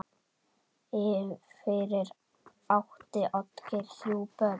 Fyrir átti Oddgeir þrjú börn.